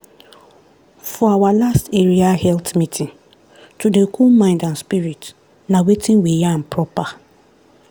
for our last area health meeting to dey cool mind and spirit na wetin we yarn proper.